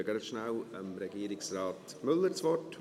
Ich gebe rasch Regierungsrat Müller das Wort.